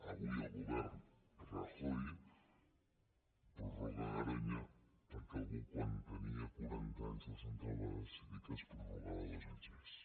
avui el govern rajoy prorroga garoña perquè algú quan tenia quaranta anys la central va decidir que es prorrogava dos anys més